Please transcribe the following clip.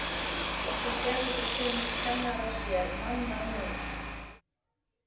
Og svo gerðu sumir kennararnir sér mannamun.